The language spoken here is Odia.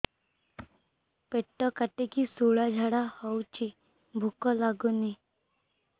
ପେଟ କାଟିକି ଶୂଳା ଝାଡ଼ା ହଉଚି ଭୁକ ଲାଗୁନି